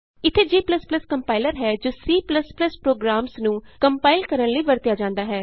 ਇਥੇ g compiler ਹੈ ਜੋ C ਪ੍ਰੋਗਰਾਮਸ ਨੂੰ ਕੰਪਾਇਲ ਕਰਨ ਲਈ ਵਰਤਿਆ ਜਾਂਦਾ ਹੈ